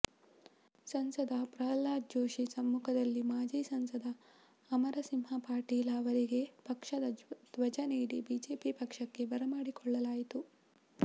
ಸಂಸದ ಪ್ರಲ್ಹಾದ ಜೋಶಿ ಸಮ್ಮುಖದಲ್ಲಿ ಮಾಜಿ ಸಂಸದ ಅಮರಸಿಂಹ ಪಾಟೀಲ ಅವರಿಗೆ ಪಕ್ಷದ ಧ್ವಜ ನೀಡಿ ಬಿಜೆಪಿ ಪಕ್ಷಕ್ಕೆ ಬರಮಾಡಿಕೊಳ್ಳಲಾಯಿತು